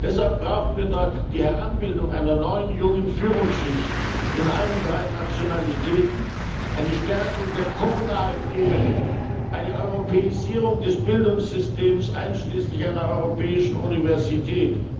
Deshalb brauchen wir dort die Heranbildung einer neuen jungen Führungsschicht in allen drei Nationalitäten, eine Stärkung der kommunalen Ebene und eine Europäisierung des Bildungssystems einschließlich einer europäischen Universität.